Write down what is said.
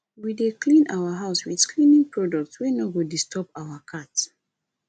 we dey clean our house wit cleaning products wey no go disturb our cat